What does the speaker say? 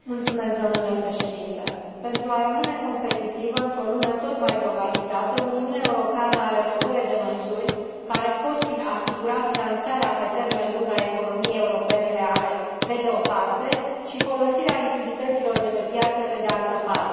Domnule președinte, pentru a rămâne competitivă într o lume tot mai globalizată, Uniunea Europeană are nevoie de măsuri care pot asigura finanțarea pe termen lung a economiei europene reale, pe de o parte, și folosirea lichidităților de pe piață, pe de altă parte.